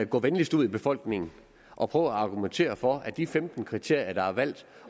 gå venligst ud i befolkningen og prøv at argumentere for de femten kriterier der er valgt